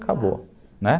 Acabou, né.